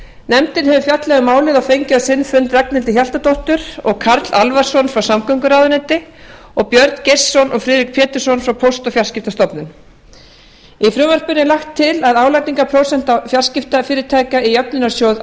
nefndin hefur fjallað um málið og fengið á sinn fund ragnhildi hjaltadóttur og karl alvarsson frá samgönguráðuneyti og björn geirsson og friðrik pétursson frá póst og fjarskiptastofnun í frumvarpinu er lagt til að álagningarprósenta fjarskiptafyrirtækja í jöfnunarsjóð